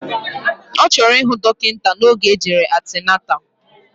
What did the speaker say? Ọchọrọ ihu dokita na oge ojere antenatal.